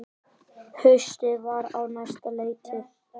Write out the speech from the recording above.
Haustið var á næsta leiti.